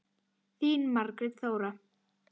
Þín, Margrét Þóra.